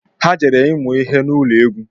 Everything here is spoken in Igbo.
Ha jere ịmụ ihe n'ụlọ egwu